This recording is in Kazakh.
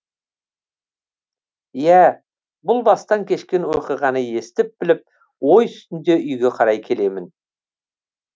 иә бұл бастан кешкен оқиғаны естіп біліп ой үстінде үйге қарай келемін